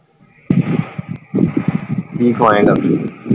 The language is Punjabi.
ਕੀ ਖਵਾਏਂਗਾ?